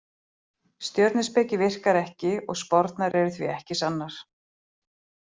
Stjörnuspeki virkar ekki og spárnar eru því ekki sannar.